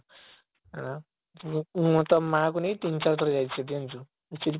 ଆଁ ମୁଁ ତା ମା କୁ ନେଇକି ତିନ ଚାରି ଥର ଯାଇଛି ସେଠିକି ଜାଣିଛୁ